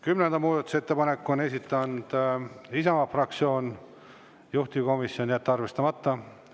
Kümnenda muudatusettepaneku on esitanud Isamaa fraktsioon, juhtivkomisjon: jätta arvestamata.